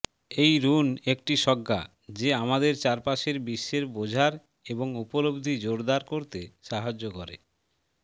এই রুন একটি স্বজ্ঞা যে আমাদের চারপাশের বিশ্বের বোঝার এবং উপলব্ধি জোরদার করতে সাহায্য করে